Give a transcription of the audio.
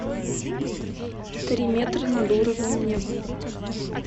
три метра над уровнем неба